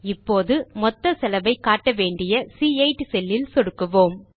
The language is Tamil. இப்போது மொத்த செலவை காட்ட வேண்டிய சி8 செல் ஐ சொடுக்குவோம்